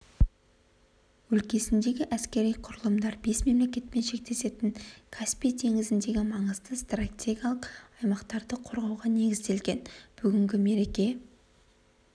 өлкесіндегі әскери құрылымдар бес мемлекетпен шектесетін каспий теңізіндегі маңызды стратегиялық аймақтарды қорғауға негізделген бүгінгі мерекеге